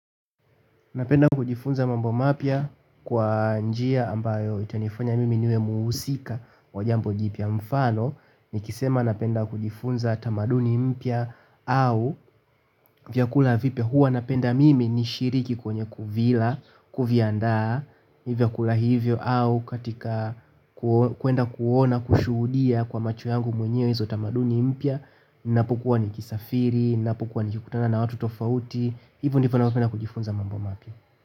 Ninapenda kujifunza mambo mapya kwa njia ambayo itanifanya mimi niwe mhusika wa jambo jipya mfano nikisema napenda kujifunza tamaduni mpya au vyakula vipya huwa ninapenda mimi nishiriki kwenye kuvila, kuviandaa vyakula hivyo au katika kwenda kuona kushuhudia kwa macho yangu mwenyewe hizo tamaduni mpya ninapukuwa nikisafiri, ninapukua nikikutana na watu tofauti. Hivyo ndivyo ninavyopenda kujifunza mambo mapya